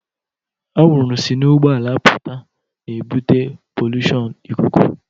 Anwụrụ si n'ụgbọala apụta na-ebute polushon ikuku